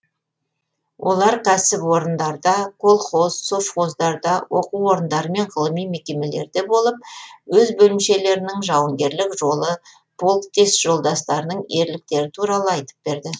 олар кәсіпорындарда колхоз совхоздарда оқу орындары мен ғылыми мекемелерде болып өз бөлімшелерінің жауынгерлік жолы полктес жолдастарының ерліктері туралы айтып берді